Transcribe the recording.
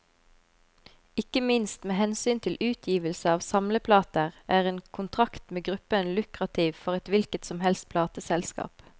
Ikke minst med hensyn til utgivelse av samleplater, er en kontrakt med gruppen lukrativt for et hvilket som helst plateselskap.